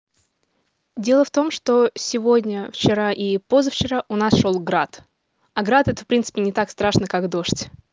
дело в том что сегодня вчера и позавчера у нас шёл град а град это в принципе не так страшно как дождь